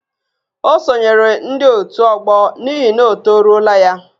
Ọ sonyeere ndị ótù ọgbọ n'ihi na ọ toruola ya